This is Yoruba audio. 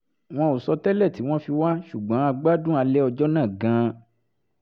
wọn ò sọ tẹ́lẹ̀ tí wọ́n fi wá ṣùgbọ́n a gbádùn alẹ́ ọjọ́ náà gan-an